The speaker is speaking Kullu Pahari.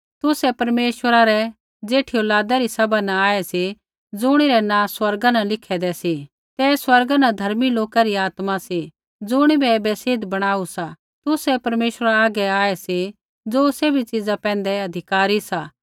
तुसै परमेश्वरा रै ज़ेठी औलादा री सभा न आऐ सी ज़ुणिरै नाँ स्वर्गा न लिखैदै सी ते स्वर्गा न धर्मी लोका री आत्मा सी ज़ुणिबै ऐबै सिद्ध बणाऊ सा तुसै परमेश्वरा हागै आऐ सी ज़ो सैभी च़ीज़ा पैंधै अधिकारी सा